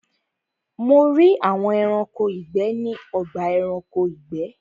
Mo rí àwọn Ẹranko ìgbẹ́ ní ọgbà Ẹranko ìgbẹ́